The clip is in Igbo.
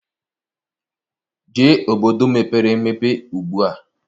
Jee obodo mepere emepe ugbua!